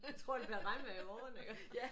Tror det bliver regnvejr i morgen iggå